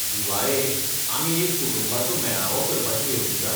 दिवाळेक, आमी एक कुटुंबाचो मेळावो करपाचें येवजितात.